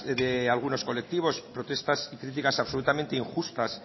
de algunos colectivos protestas y criticas absolutamente injustas